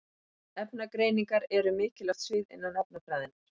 Efnagreiningar eru mikilvægt svið innan efnafræðinnar.